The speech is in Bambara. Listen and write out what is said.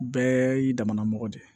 Bɛɛ y'i damamɔgɔ de ye